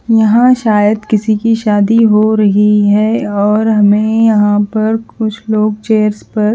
यहा सायद किसी की शादी हो रही है और हमे यहा कुछ लोग चेयर्स पर--